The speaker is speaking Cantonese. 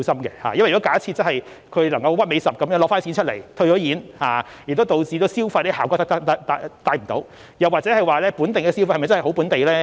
因為假設有人能夠動輒退貨來套現，亦導致不能帶出消費的效果，又或該本地消費是否真的是本地呢？